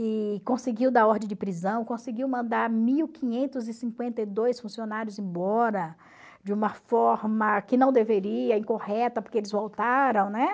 E conseguiu dar ordem de prisão, conseguiu mandar mil quinhentos e cinquenta e dois funcionários embora de uma forma que não deveria, incorreta, porque eles voltaram, né?